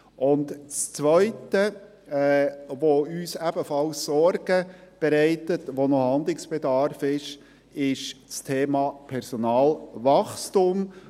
Das Zweite, was uns ebenfalls Sorgen bereitet und wo noch Handlungsbedarf besteht, ist das Thema «Personalwachstum».